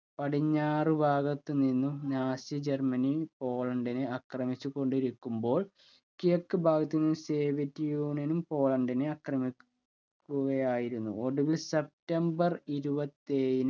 പടിഞ്ഞാറ് ഭാഗത്തു നിന്നും നാസി ജർമനി പോളണ്ടിനെ അക്രമിച്ചു കൊണ്ടിരിക്കുമ്പോൾ കിഴക്ക് ഭാഗത്തുനിന്നും soviet union ഉം പോളണ്ടിനെആക്രമിക്കു കയായിരുന്നു ഒടുവിൽ സെപ്റ്റംബർ ഇരുപത്തേഴിന്